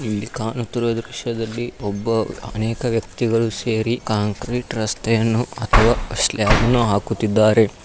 ಇಲ್ಲಿ ಕಾಣುತ್ತಿರುವ ದೃಶ್ಯದಲ್ಲಿ ಒಬ್ಬ ಅನೇಕ ವ್ಯಕ್ತಿಗಳು ಸೇರಿ ಕಾಂಕ್ರೀಟ್ ರಸ್ತೆಯನ್ನು ಅಥವ ಸ್ಲಾಬ್ ಅನ್ನು ಹಾಕುತ್ತಿದ್ದಾರೆ.